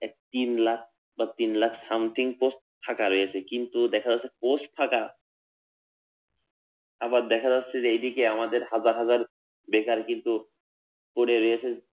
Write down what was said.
তিনলাখ বা তিনলাখ something post ফাঁকা রয়েছে, কিন্তু দেখা যাচ্ছে post ফাঁকা আবার দেখা যাচ্ছে যে এদিকে আমাদের হাজার হাজার বেকার কিন্তু পরে রয়েছে